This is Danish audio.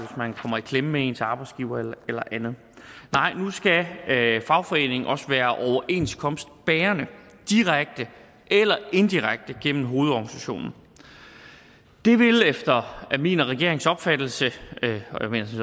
man kommer i klemme med ens arbejdsgiver eller andet nej nu skal fagforeningen også være overenskomstbærende direkte eller indirekte gennem hovedorganisationen det vil efter min og regeringens opfattelse